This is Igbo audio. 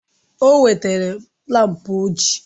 O wetara laampụ uji